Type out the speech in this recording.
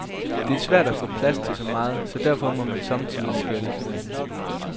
Det er svært at få plads til så meget, så derfor må man sommetider skære lidt ned.